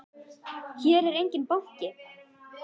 Hér er enginn banki!